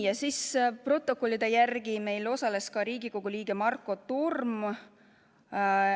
Ja protokolli kohaselt osales ka Riigikogu liige Marko Torm.